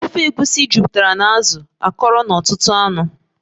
Ofe egusi jupụtara na azụ akọrọ na ọtụtụ anụ